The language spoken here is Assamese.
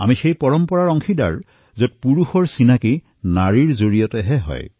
আমি সেই পৰম্পৰাৰ অংশ যত পুৰুষৰ পৰিচয় নাৰীৰ দ্বাৰা হয়